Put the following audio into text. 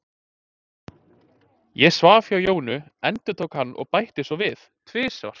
Ég svaf hjá Jónu, endurtók hann og bætti svo við: Tvisvar.